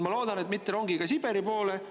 Ma loodan, et mitte rongiga Siberi poole.